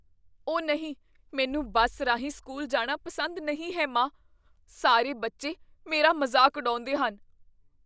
ਓਹ ਨਹੀਂ! ਮੈਨੂੰ ਬੱਸ ਰਾਹੀਂ ਸਕੂਲ ਜਾਣਾ ਪਸੰਦ ਨਹੀਂ ਹੈ, ਮਾਂ। ਸਾਰੇ ਬੱਚੇ ਮੇਰਾ ਮਜ਼ਾਕ ਉਡਾਉਂਦੇ ਹਨ।